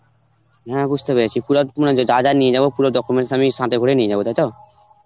হ্যাঁ বুঝতে পেরেছি. পুরা মানে যা যা নিয়ে যাব পুরা documents আমি সাথে করে নিয়ে যাব, তাই তো?